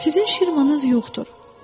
Sizin şirmanız yoxdur.